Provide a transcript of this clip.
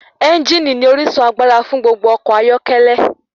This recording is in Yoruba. Ẹ́ngìnì ní orísun agbára fún gbogbo ọkọ̀ ayọ́kẹ́lẹ́.